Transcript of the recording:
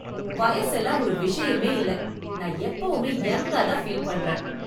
வயசெல்லாம் ஒரு விஷயமே இல்ல. நான் எப்போவுமே யங்கா தான் ஃபீல் பண்றேன்.